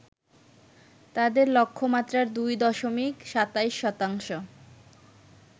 তাদের লক্ষ্যমাত্রার ২ দশমিক ২৭ শতাংশ